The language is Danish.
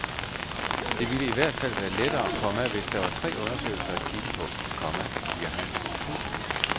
Det ville i hvert fald være lettere, komma hvis der var tre undersøgelser at kigge på, komma siger han. punktum